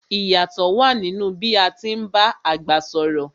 I yátọ̀ wa nínú bí a ti ń bá àgbà sọ̀rọ̀